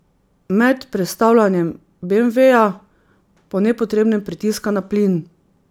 Med prestavljanjem beemveja po nepotrebnem pritiska na plin.